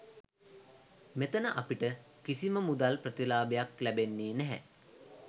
මෙතන අපිට කිසිම මුදල් ප්‍රතිලාභයක් ලැබෙන්නෙ නෑ.